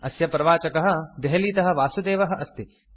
अस्य प्रवाचकः देहलीतः वासुदेवः अस्ति